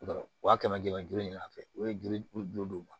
Wa kɛmɛ duuru in na fɛnɛ u ye juru don u ma